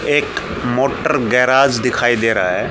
एक motor garage दिखाई दे रहा है।